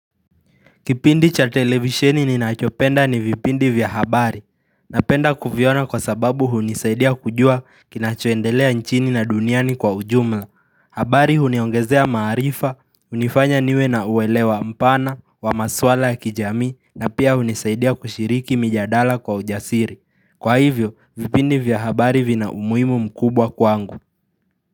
Kipindi cha televisheni ninachopenda ni vipindi vya habari. Napenda kuviona kwa sababu hunisaidia kujua kinachoendelea nchini na duniani kwa ujumla. Habari huniongezea maarifa, unifanya niwe na uwelewa mpana, wa maswala ya kijamii, na pia hunisaidia kushiriki mijadala kwa ujasiri. Kwa hivyo, vipindi vya habari vina umuhimu mkubwa kwangu.